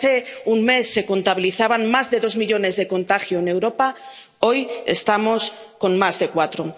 Si hace un mes se contabilizaban más de dos millones de contagios en Europa, hoy estamos con más de cuatro.